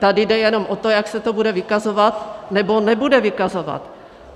Tady jde jenom o to, jak se to bude vykazovat nebo nebude vykazovat.